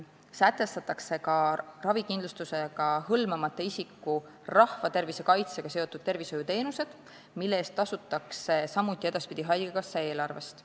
Sätestatakse ka ravikindlustusega hõlmamata isiku rahvatervise kaitsega seotud tervishoiuteenused, mille eest tasutakse edaspidi samuti haigekassa eelarvest.